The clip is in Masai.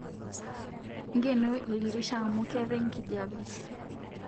Nkeno ldirisha amu ketai nkijepe